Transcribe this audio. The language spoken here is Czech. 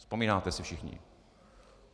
Vzpomínáte si všichni.